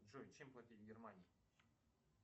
джой чем платить в германии